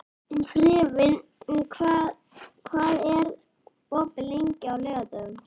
Friðvin, hvað er opið lengi á laugardaginn?